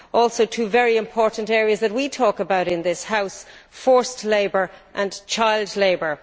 Also, two very important areas that we talk about in this House forced labour and child labour.